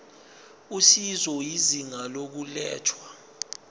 usizo izinga lokulethwa